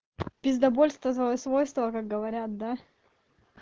пиздабольство злое свойства как говорят да